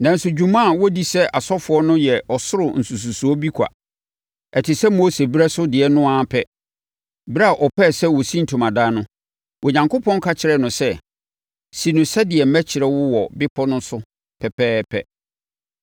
Nanso dwuma a wɔdi sɛ asɔfoɔ no yɛ ɔsoro nsususoɔ bi kwa. Ɛte sɛ Mose berɛ so deɛ no ara pɛ. Ɛberɛ a ɔpɛɛ sɛ ɔsi ntomadan no, Onyankopɔn ka kyerɛɛ no sɛ, “Si no sɛdeɛ merekyerɛ wo wɔ bepɔ no so pɛpɛɛpɛ.”